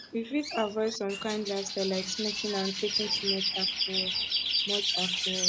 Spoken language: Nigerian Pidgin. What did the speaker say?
we fit avoid some kind lifestyle like smoking and taking too much alcohol much alcohol